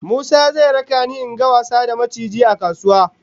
Musa zai raka ni in ga wasa da maciji a kasuwa